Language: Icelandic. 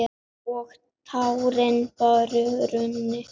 Og tárin bara runnu.